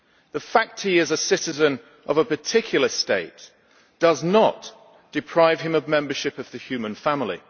The fact they are citizens of a particular state does not deprive them of membership of the human family.